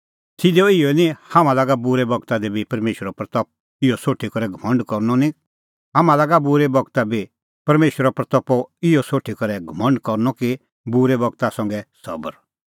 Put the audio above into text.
सिधअ इहअ ई निं हाम्हां लागा बूरै बगता दी बी परमेशरे महिमों इहअ ज़ाणीं करै घमंड करनअ कि बूरै बगता संघै सबर